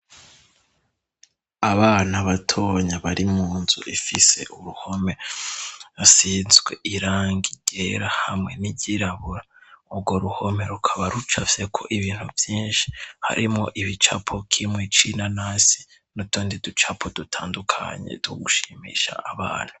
Abanta batonya bari mu nzu ifise uruhome asinzwe iranga igera hamwe n'iryirabura urwo ruhome rukaba rucavyeko ibintu vyinshi harimo ibicapokimwe icina nasi nutondi ducapo dutandukanye dugushimisha abana.